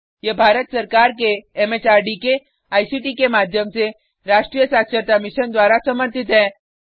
यह भारत सरकार के एमएचआरडी के आईसीटी के माध्यम से राष्ट्रीय साक्षरता मिशन द्वारा समर्थित है